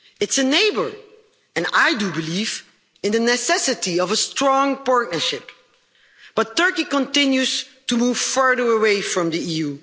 It's a neighbour and I do believe in the necessity of a strong partnership, but Turkey continues to move further away from the EU.